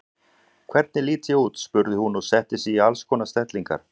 Hvernig lít ég út? spurði hún og setti sig í alls konar stellingar.